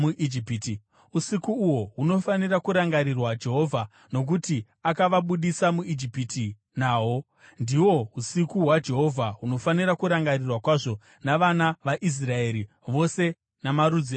Usiku uhwo hunofanira kurangarirwa Jehovha, nokuti akavabudisa muIjipiti nahwo. Ndihwo usiku hwaJehovha, hunofanira kurangarirwa kwazvo navana vaIsraeri vose namarudzi avo ose.